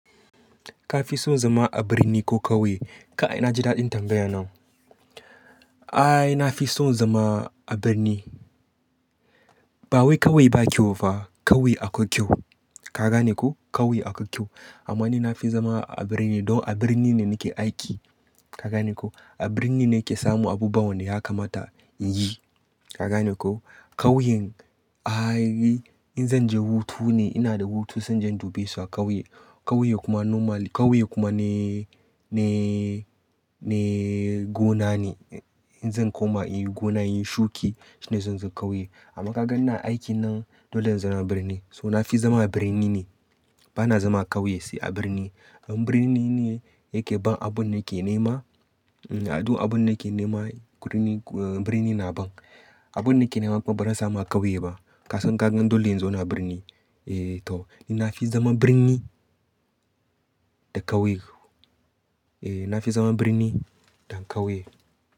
Ka fi son zama a birni ko ƙauye? Ka ai na ji daɗin tambaya nan. Ae, na fi son zama a birni. Ba wai ƙauye ba kyau fa, ƙauye akwai kyau. Ka gane ko? Ƙauye akwai kyau. Amma ni na fi zama a birni don a birni ne nake aiki. Ka gane ko? A birni ne ke samu abubuwan da ya kamata in yi. Ka gane ko? Ƙauyen, ae in zan je hutu ne ina da hutu zan je in dubesu a ƙauye. Ƙauye kuma normal ƙauye kuma ne, ne, ne gona ne. In zan koma in yi gona, in yi shuki shine zan zo ƙauye. Amma ka gan ni aiki nan, dole in zama birni. So na fi zama birni ne. Bana zama ƙauye sai a birni. Birni ne yake ban abun da ke nema. Adu abun da ke nema birni na ban. Abun da ke nema ba zan samu a ƙauye ba. Kasan kagan dole in zo na birni. Eh to, ni na fi zaman birni da ƙauye. Eh na fi zama birni da ƙauye.